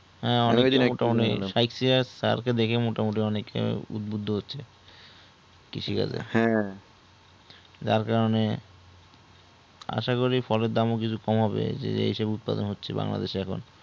হ্যা অনেকটা মোটা মতি sir কে দেখে অনেকে মোটামুটি অনেক এ উৎবুদ্ধ হচ্ছে কৃষি কাজ এ যার কারণে আসা করি কিছু ফল এর দাম ও কিছু কমাবে যে হিসেবে উৎপাদন হচ্ছে বাংলা দেশ এ